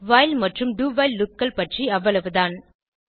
while மற்றும் do while loopகள் பற்றி அவ்வளவுதான்